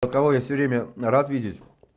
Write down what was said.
у кого я всё время рад видеть